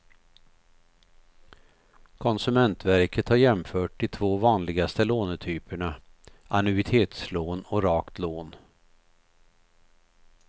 Konsumentverket har jämfört de två vanligaste lånetyperna, annuitetslån och rakt lån.